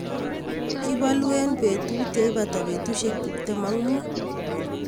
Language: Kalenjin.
Kibolu en betit yeipata betusiek tiptem ak mut.